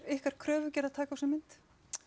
ykkar kröfugerð